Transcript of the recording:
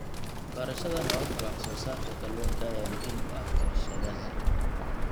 Barashada hababka wax soo saarka kalluunka ayaa muhiim u ah warshadaha.